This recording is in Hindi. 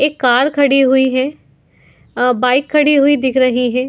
एक कार खड़ी हुई है। अ बाइक खड़ी हुई दिख रही है।